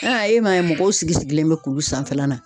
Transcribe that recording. e m'a ye mɔgɔw sigi sigilen bɛ kulu sanfɛla la.